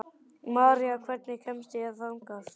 Marí, hvernig kemst ég þangað?